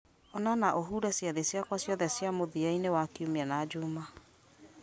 ona na ũhure ciathĩ ciakwa ciothe cia mũthia-inĩ wa kiumia na juma